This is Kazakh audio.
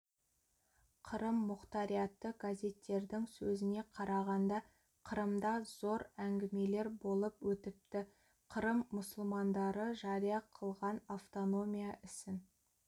қырым мұқтариаты газеттердің сөзіне қарағанда қырымда зор әңгімелер болып өтіпті қырым мұсылмандары жария қылған автономия ісін